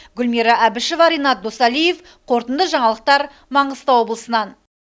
гүлмира әбішева ренат досалиев қорытынды жаңалықтар маңғыстау облысынан